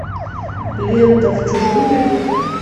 лента в чужом ряду